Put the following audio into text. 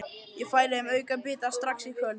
Ég færi þeim aukabita strax í kvöld.